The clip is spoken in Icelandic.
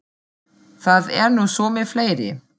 Það er nú svo með fleiri.